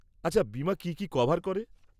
আচ্ছা, বিমা কি কি কভার করে?